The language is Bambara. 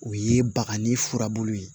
O ye bakani furabulu ye